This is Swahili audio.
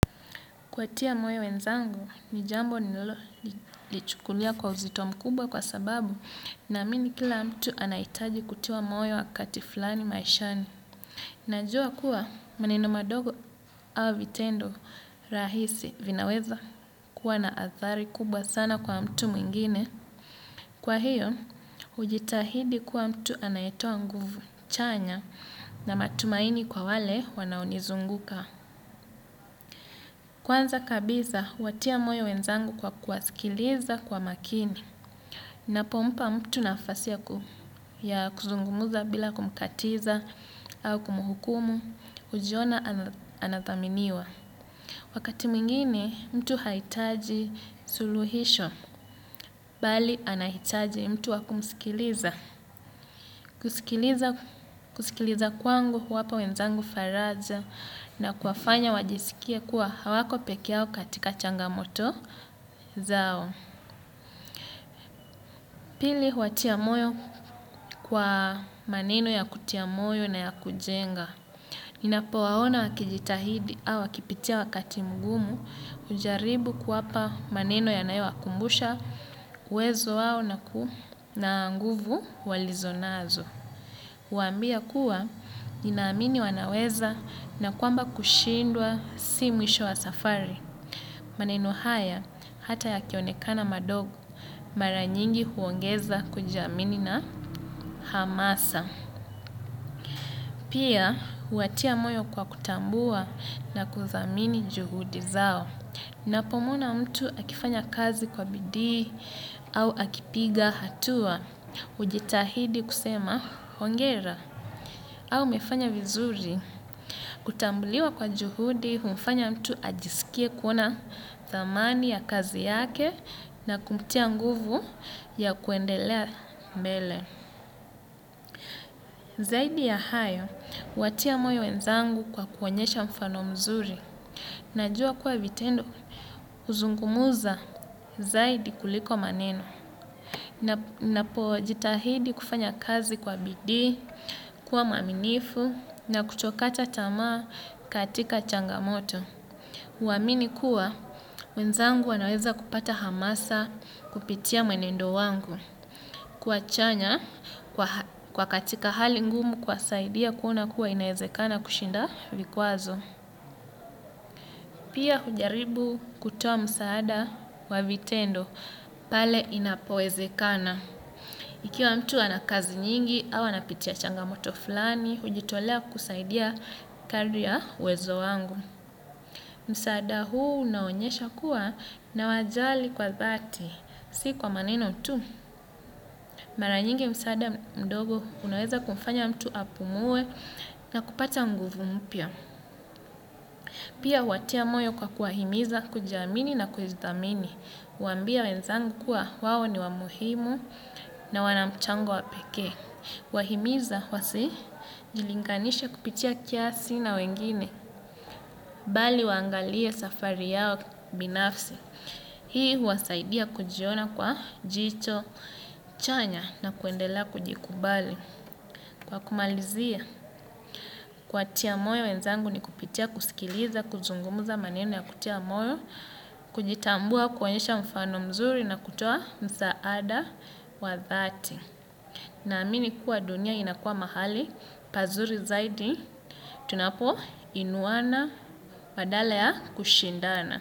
Kuwatia moyo wenzangu ni jambo ninalolichukulia kwa uzito mkubwa kwa sababu naamini kila mtu anahitaji kutiwa moyo wakati fulani maishani. Najua kuwa maneno madogo au vitendo rahisi vinaweza kuwa na athari kubwa sana kwa mtu mwingine. Kwa hiyo, hujitahidi kuwa mtu anayetoa nguvu chanya na matumaini kwa wale wanaonizunguka. Kwanza kabisa, watia moyo wenzangu kwa kuwasikiliza kwa makini. Napompa mtu nafasi ya kuzungumuza bila kumkatiza au kumuhukumu, hujiona anathaminiwa. Wakati mwingine, mtu haitaji suluhisho, bali anahitaji mtu wa kumusikiliza. Kusikiliza kwangu huwapa wenzangu faraja na kuwafanya wajisikie kuwa hawako pekee yao katika changamoto zao. Pili huwatia moyo kwa maneno ya kutia moyo na ya kujenga. Ninapo waona wakijitahidi au wakipitia wakati mgumu hujaribu kuwapa maneno yanayowakumbusha uwezo wao na ku na nguvu walizonazo. Huwaambia kuwa ninaamini wanaweza na kwamba kushindwa si mwisho wa safari. Maneno haya hata yakionekana madogo maranyingi huongeza kujiamini na hamasa. Pia, huwatia moyo kwa kutambua na kuthamini juhudi zao. Napo mwona mtu akifanya kazi kwa bidii au akipiga hatua. Hujitahidi kusema hongera. Au amefanya vizuri, kutambuliwa kwa juhudi humfanya mtu ajisikie kuona dhamani ya kazi yake na kumtia nguvu ya kuendelea mbele. Zaidi ya hayo, huwatia moyo wenzangu kwa kuonyesha mfano mzuri. Najua kuwa vitendo huzungumuza zaidi kuliko maneno. Napojitahidi kufanya kazi kwa bidii, kuwa mwaminifu na kutokata tamaa katika changamoto. Huamini kuwa, wenzangu wanaweza kupata hamasa kupitia mwenendo wangu. Kwa chanya kwa katika hali ngumu kuwasaidia kuona kuwa inaezekana kushinda vikwazo. Pia hujaribu kutoa msaada wa vitendo pale inapowezekana. Ikiwa mtu anakazi nyingi, au anapitia changamoto fulani, hujitolea kusaidia kadri ya uwezo wangu. Msaada huu unaonyesha kuwa nawajali kwa dhati, si kwa maneno tu. Maranyingi msaada mdogo unaweza kumfanya mtu apumue na kupata nguvu mpya. Pia huwatia moyo kwa kuwahimiza, kujiamini na kujidhamini. Huambia wenzangu kuwa wao ni wamuhimu na wanamchango wapekee. Huwahimiza wasijilinganisha kupitia kiasi na wengine. Bali waangalie safari yao binafsi. Hii huwasaidia kujiona kwa jicho chanya na kuendelea kujikubali. Kwa kumalizia kuwatia moyo wenzangu ni kupitia kusikiliza, kuzungumuza maneno ya kutia moyo, kujitambua, kuonyesha mfano mzuri na kutoa msaada wa dhati. Na amini kuwa dunia inakuwa mahali, pazuri zaidi, tunapo inuwana badala ya kushindana.